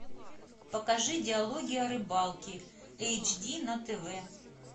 покажи диалоги о рыбалке эйч ди на тв